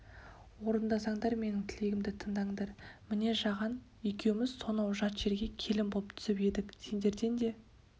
орындасаңдар менің тілегімді тыңдаңдар міне жаған екеуміз сонау жат жерге келін боп түсіп едік сендерден де